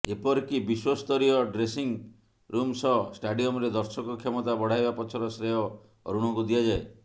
ଏପରିକି ବିଶ୍ୱସ୍ତରୀୟ dressing room ସହ ଷ୍ଟାଡିୟମରେ ଦର୍ଶକ କ୍ଷମତା ବଢାଇବା ପଛର ଶ୍ରେୟ ଅରୁଣଙ୍କୁ ଦିଆଯାଏ